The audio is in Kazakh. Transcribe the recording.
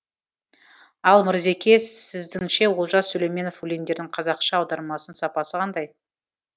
ал мырзеке сіздіңше олжас сүлейменов өлеңдерінің қазақша аудармасының сапасы қандай